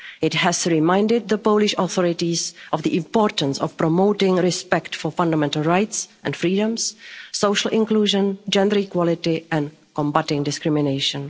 It has reminded the Polish authorities of the importance of promoting respect for fundamental rights and freedoms, social inclusion, gender equality and combating discrimination.